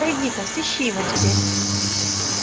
пойди ка сыщи его теперь